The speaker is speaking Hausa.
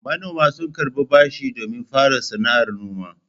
Manoma sun karɓi bashi domin fara sana'ar noma.